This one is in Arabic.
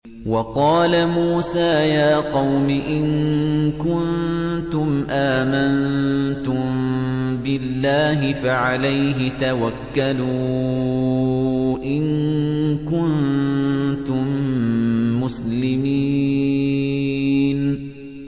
وَقَالَ مُوسَىٰ يَا قَوْمِ إِن كُنتُمْ آمَنتُم بِاللَّهِ فَعَلَيْهِ تَوَكَّلُوا إِن كُنتُم مُّسْلِمِينَ